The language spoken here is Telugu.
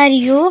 మరియు --